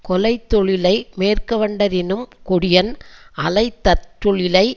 கொலைத்தொழிலை மேற்கொண்டவரினும் கொடியன் அலைத்தற்றொழிலை